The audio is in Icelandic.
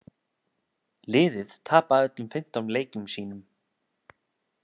Liðið tapaði öllum fimmtán leikjum sínum.